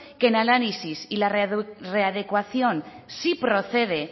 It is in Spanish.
que el análisis y la readecuación si procede